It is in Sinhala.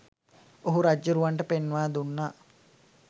ඔහු රජ්ජුරුවන්ට පෙන්වා දුන්නා.